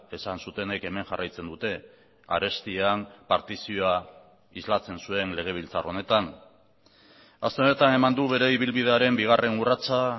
esan zutenek hemen jarraitzen dute arestian partizioa islatzen zuen legebiltzar honetan aste honetan eman du bere ibilbidearen bigarren urratsa